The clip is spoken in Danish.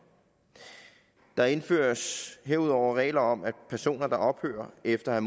der indføres herudover regler om at personer der ophører efter at